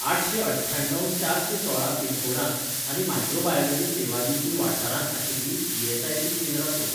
आठशें अठ्ठ्याण्णव चारशेंसोळा पिनकोडांत आनी मायक्रोबायोलॉजी सेवा दिवपी वाठारांत आशिल्लीं ई.एस.आय.सी. केंद्रां सोद